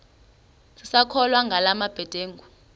sisakholwa ngala mabedengu